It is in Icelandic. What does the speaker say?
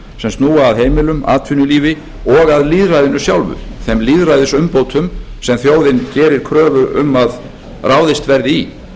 sem snúa að heimilum atvinnulífi og að lýðræðinu sjálfu þeim lýðræðisumbótum sem þjóðin gerir kröfu um að ráðist verði í